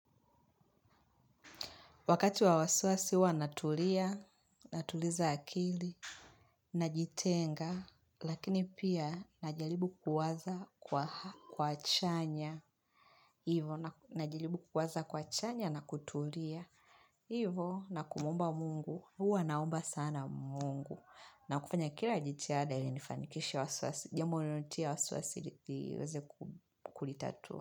Wakati wa wasiwasi huwa natulia, natuliza akili, najitenga, lakini pia najaribu kuwaza kwa chanya na kutulia. Hivyo na kumuomba mungu, huwa naomba sana mungu. Na kufanya kila jitihada ilinifanikisha wasiwasi, jambi linalonitia wasiwasi liweze kulitatua.